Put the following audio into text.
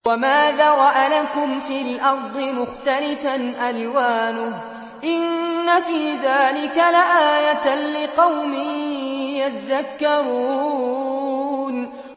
وَمَا ذَرَأَ لَكُمْ فِي الْأَرْضِ مُخْتَلِفًا أَلْوَانُهُ ۗ إِنَّ فِي ذَٰلِكَ لَآيَةً لِّقَوْمٍ يَذَّكَّرُونَ